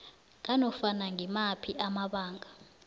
nganofana ngimaphi amabanga